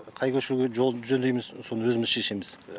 қай көшеге жолды жөндейміз соны өзіміз шешеміз